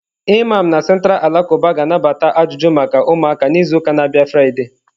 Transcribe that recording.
Imam na Central alakụba ga-anabata ajụjụ maka ụmụaka n'izu na-abịa Friday.